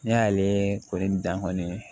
Ne y'ale koli nin dan kɔni